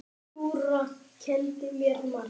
Dúra kenndi mér margt.